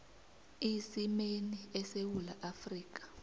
isimeni esewula afrika